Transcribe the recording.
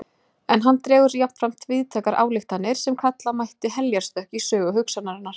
En hann dregur jafnframt víðtækar ályktanir sem kalla mætti heljarstökk í sögu hugsunarinnar.